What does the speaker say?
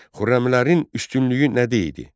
Xürrəmlərin üstünlüyü nə deydi?